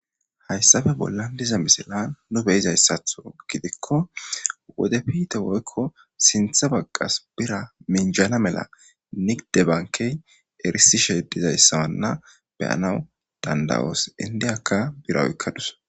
hayssafe bollan diza misila nu beyizayssatho gidikko wode piite woykko sintha bagqas bira minjana mela niqdebankey erisishe dizayssawanna beyanawu dandawoos indiyakka biraoykkadus